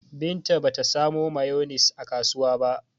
Binta ba ta samo mayonis a kasuwa ba.